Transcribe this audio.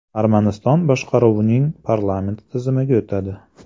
Armaniston boshqaruvning parlament tizimiga o‘tadi.